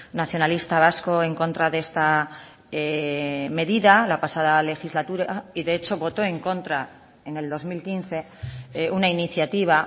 nacionalista vasco en contra de esta medida la pasada legislatura y de hecho votó en contra en el dos mil quince una iniciativa